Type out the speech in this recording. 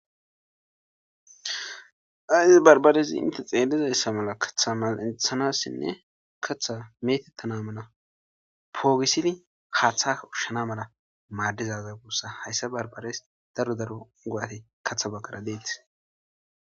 Ayis barbarezi inte xeelizayssa mala kaththa malinthanassinne kaththa metettanamana poogisini haaththaa ushshana mala maaddizaza guussa hayssa barbares daro daro go7ate katha baggara deetis.